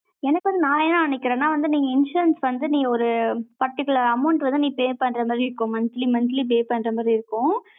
எனக்கு வந்து, நானே என்ன நினைக்கிறேன்னா, வந்து, நீங்க insurance வந்து, நீ ஒரு particular amount வந்து, நீ pay பண்ற மாதிரி இருக்கும். monthly, monthly pay பண்ற மாதிரி இருக்கும்